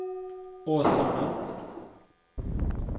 Åsarna